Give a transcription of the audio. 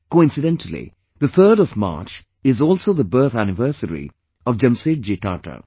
Coincidentally, the 3rd of March is also the birth anniversary of Jamsetji Tata